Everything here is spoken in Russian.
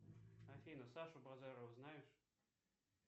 афина сашу базарова знаешь